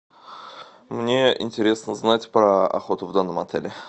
мне интересно знать про охоту в данном отеле